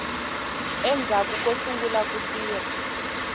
endzhaku ko sungula ku tirha